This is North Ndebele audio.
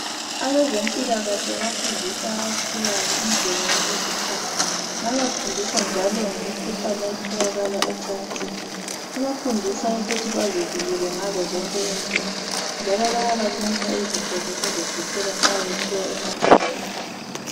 Abezempilakahle bafundisa abakhulayo indlela yokuziphatha babafundisa njalo ngemikhuhlane etholakala ecansini babafundisa ukuthi bazivikele ngazo zonke indlela njalo bayabanika izinto zokuzivikela nxa besiya emacansini.